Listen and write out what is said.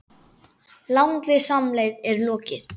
Langri samleið er lokið.